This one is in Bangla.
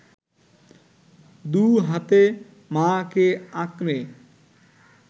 দু’হাতে মা’কে আঁকড়ে